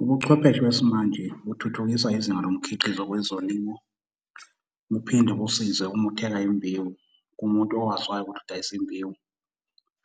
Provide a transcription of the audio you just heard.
Ubuchwepheshe besimanje buthuthukisa izinga lomkhiqizo kwezolimo. Buphinde busize uma uthenga imbewu kumuntu owaziwayo ukuthi udayisa imbewu.